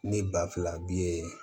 Ne ba filabu ye